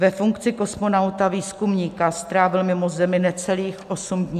Ve funkci kosmonauta-výzkumníka strávil mimo Zemi necelých osm dní.